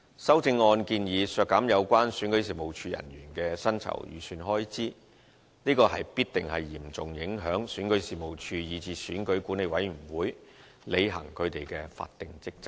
修正案建議削減有關選舉事務處人員的薪酬預算開支，這必定嚴重影響選舉事務處，以至選管會履行其法定職責。